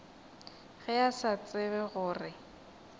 ge a sa tsebe gore